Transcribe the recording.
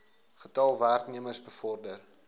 getal werknemers bevorder